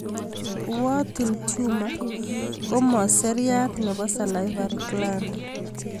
Warthin tumor ko mopo seriat nepo salivary gland